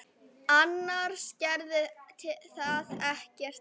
Annars gerði það ekkert til.